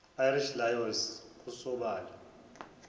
irish lions kusobala